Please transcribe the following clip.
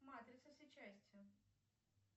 матрица все части